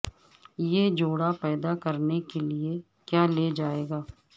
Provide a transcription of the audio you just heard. یہ جوڑا پیدا کرنے کے لئے کیا لے جائے گا